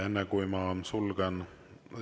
Enne kui ma sulgen …